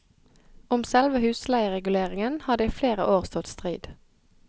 Om selve husleiereguleringen har det i flere år stått strid.